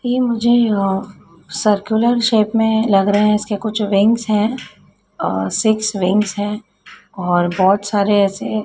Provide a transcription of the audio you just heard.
ये मुझे uh circular shape में लग रहे हैं इसके कुछ विंगस हैं अ सिक्स विंगस हैं और बहोत सारे ऐसे --